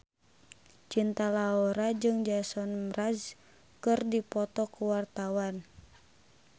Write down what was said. Cinta Laura jeung Jason Mraz keur dipoto ku wartawan